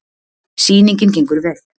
Sýningin gengur vel.